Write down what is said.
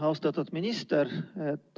Austatud minister!